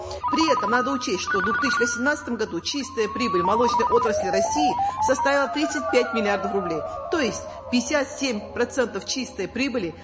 при этом надо учесть что в две тысячи восемнадцатом году чистая прибыль молочной отрасли россии составила тридцать пять миллиардов рублей то есть пятьдесят семь процентов чистой прибыли